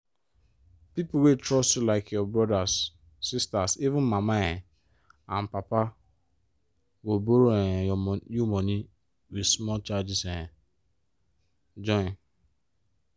pipo wey trust you like your brothers sisters even mama um and papa—go borrow um you money with small charges um join.